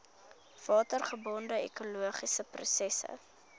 watergebonde ekologiese prosesse